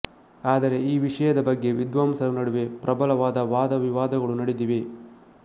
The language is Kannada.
ಆದರೆ ಈ ವಿಷಯದ ಬಗ್ಗೆ ವಿದ್ವಾಂಸರ ನಡುವೆ ಪ್ರಬಲವಾದ ವಾದವಿವಾದಗಳು ನಡೆದಿವೆ